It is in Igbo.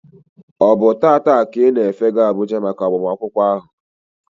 Ọ bụ taa ka ị na-efega Abuja maka agbamakwụkwọ ahụ?